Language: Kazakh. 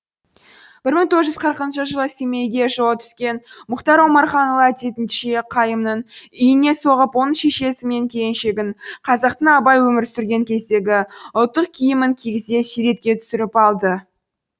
бір мың тоғыз жүз қырықыншы жылы семейге жолы түскен мұхтар омарханұлы әдетінше қайымның үйіне соғып оның шешесі мен келіншегін қазақтың абай өмір сүрген кездегі ұлттық киімін кигізе суретке түсіріп алды